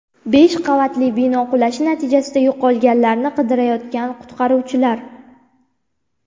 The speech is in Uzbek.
Besh qavatli bino qulashi natijasida yo‘qolganlarni qidirayotgan qutqaruvchilar.